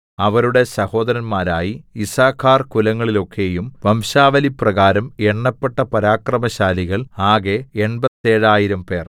അവരുടെ സഹോദരന്മാരായി യിസ്സാഖാർകുലങ്ങളിലൊക്കെയും വംശാവലിപ്രകാരം എണ്ണപ്പെട്ട പരാക്രമശാലികൾ ആകെ എൺപത്തേഴായിരംപേർ